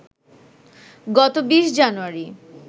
গত ২০ জানুয়ারি